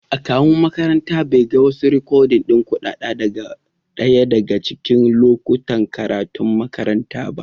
Akawun makarantan bai ga wasu rikodin kuɗaɗa daga ɗaya daga cikin lokutan karatun makarantar ba.